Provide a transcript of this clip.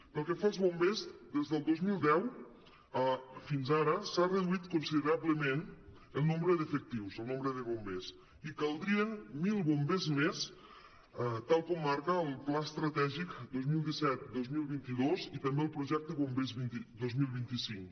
pel que fa als bombers des del dos mil deu fins ara s’ha reduït considerablement el nombre d’efectius el nombre de bombers i caldrien mil bombers més tal com mar·ca el pla estratègic dos mil disset·dos mil vint dos i també el projecte bombers dos mil vint cinc